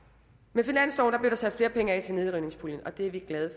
med finansloven blev der sat flere penge af til nedrivningspuljen og det er vi glade